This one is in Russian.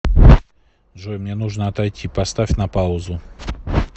джой мне нужно отойти поставь на паузу